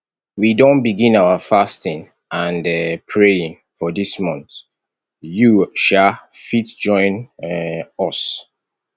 we don begin our fasting and um praying for dis month you um fit join um us